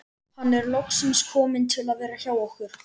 Hann er loksins kominn til að vera hjá okkur.